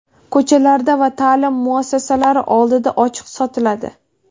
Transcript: ko‘chalarda va ta’lim muassasalari oldida ochiq sotiladi.